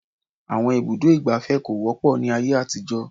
Àwọn ibùdó ìgbafẹ́ kò wọ́pọ̀ ní ayé àtijó.